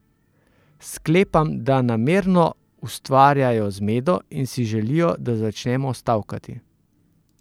Sklepam, da namerno ustvarjajo zmedo in si želijo, da začnemo stavkati.